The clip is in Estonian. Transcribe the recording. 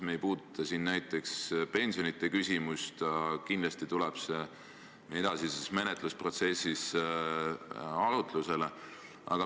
Me ei puuduta siin näiteks pensionite küsimust, aga kindlasti tuleb see edasises menetlusprotsessis arutlusele.